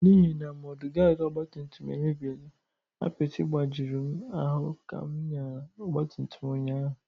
N’ihi na mọdụgaadị ọgbatumtum emebiela, apịtị gbajuru m ahụ ka m nyara ọgbatumtum ụnyaahụ.